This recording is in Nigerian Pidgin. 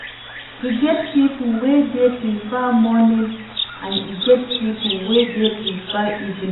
E get pipo wey dey prefer morning and e get pipo wey dey prefer evening